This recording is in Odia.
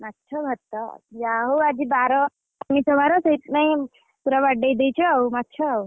ମାଛ ଭାତ ଯାହାହଉ ଆଜି ବାର ଆମିଷ ବାର ସେଇଥିପାଇଁ ପୁରା ବାଡ଼େଇଦେଇଛ ଆଉ ମାଛ ଆଉ।